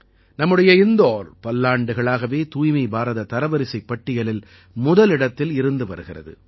நம்முடைய இந்தோர் பல்லாண்டுகளாகவே தூய்மை பாரத தரவரிசைப் பட்டியலில் முதலிடத்தில் இருந்து வருகிறது